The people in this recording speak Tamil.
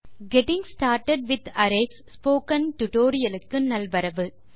getting started with arrays spoken tutorial க்கு நல்வரவு